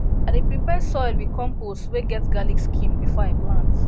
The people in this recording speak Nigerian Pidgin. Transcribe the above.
i dey prepare soil with compost wey get garlic skin before i plant